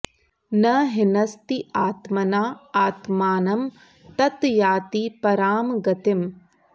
न हिनस्ति आत्मना आत्मानम् ततः याति पराम् गतिम्